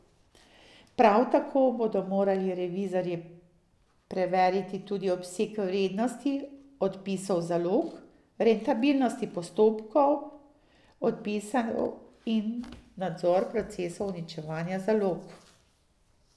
Prav tako bodo morali revizorji preveriti tudi obseg vrednosti odpisov zalog, rentabilnosti postopkov odpisov in nadzor procesov uničevanja zalog.